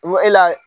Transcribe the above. e la